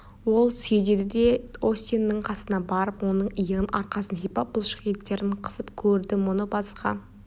ол сөйдеді де остиннің қасына барып оның иығын арқасын сипап бұлшық еттерін қысып көрді мұны басқа